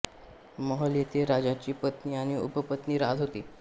महल येथे राजा ची पत्नी आणि उपपत्नी राहत होती